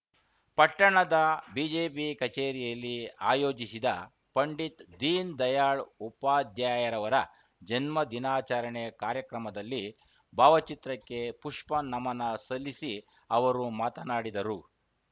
ಪಟ್ಟಣದ ಬಿಜೆಪಿ ಕಚೇರಿಯಲ್ಲಿ ಆಯೋಜಿಸಿದ ಪಂಡಿತ್‌ ದೀನ್‌ ದಯಾಳ್‌ ಉಪಾಧ್ಯಾರವರ ಜನ್ಮ ದಿನಾಚರಣೆ ಕಾರ್ಯಕ್ರಮದಲ್ಲಿ ಭಾವಚಿತ್ರಕ್ಕೆ ಪುಪ್ಪ ನಮನ ಸಲ್ಲಿಸಿ ಅವರು ಮಾತನಾಡಿದರು